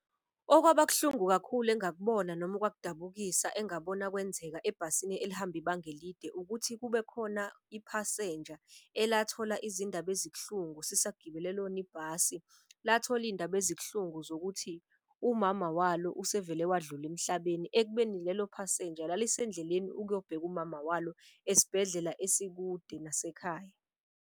Okwaba kuhlungu kakhulu engakubona noma okwakudabukisa engabona kwenzeka ebhasini elihamba ibanga elide. Ukuthi kubekhona iphasenja elathola izindaba ezibuhlungu sisagibele lona ibhasi. Lathola iy'ndaba ezikuhlungu zokuthi umama walo usevele wadlula emhlabeni. Ekubeni lelo phasenja lalisendleleni ukuyobheka umama walo esibhedlela isekude nasekhaya.